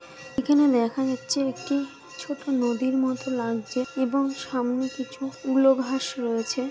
এখানে দেখা যাচ্ছে একটি ছোট নদীর মতো লাগছে এবং সামনে কিছু উলো ঘাস রয়েছে।